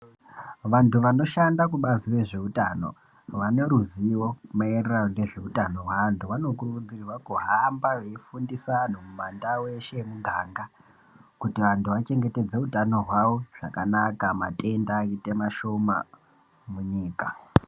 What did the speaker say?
Vantu vanoshanda kubazi rezveutano, vane ruzivo mayererano nezveutano hweantu, vanokurudzirwa kuhamba veyifundisa antu mumandau eshe emumiganga kuti antu achengetedzeke utano hwavo zvakanaka matenda ayite mashoma munyika.